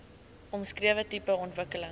omskrewe tipe ontwikkeling